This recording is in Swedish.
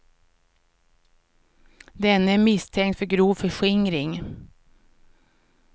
Denne är misstänkt för grov förskingring.